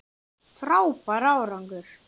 Frábær árangur